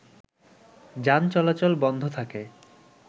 যান চালাচল বন্ধ থাকে